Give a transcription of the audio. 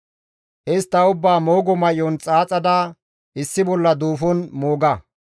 Istta ubbaa moogo may7on xaaxada issi bolla duufon mooga.